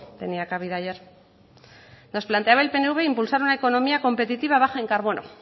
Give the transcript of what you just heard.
tenía cabida ayer nos planteaba el pnv impulsar una economía competitiva baja en carbono